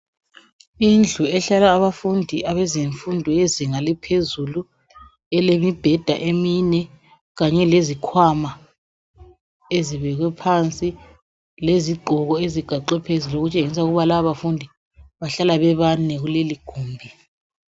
Indlu ehlala abafundi abezinga laphezulu, elemibheda emine kanye lezikhwama ezibekwe phansi lezigqoko ezigaxwe phezulu okutshengisa ukuba lababafundi bahlala bebane kuleligumbi.